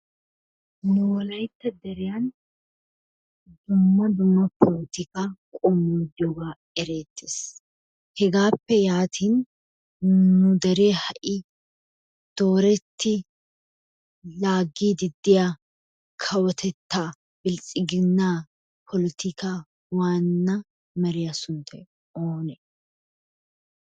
Nu wolaytta deriyan dumma dumma polotikaa qommoy diyogaa ereettes. Hegaappe yaatin nu deree ha'i dooretti laaggiiddi diya kawotettaa biltsiginnaa polotikaa waanna meriya sunttay oone?